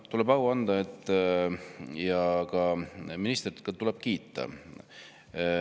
No tuleb au anda ja ka ministrit tuleb kiita.